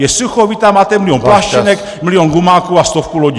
Je sucho, vy tam máte milion pláštěnek , milion gumáků a stovku lodí.